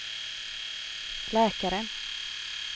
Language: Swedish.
läkaren